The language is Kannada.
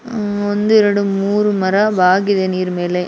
ಉಹ್ ಒಂದು ಎರಡು ಮೂರು ಮರ ಬಾಗಿದೆ ನೀರ್ ಮೇಲೆ .